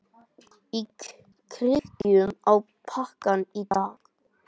Kíkjum á pakkann í dag.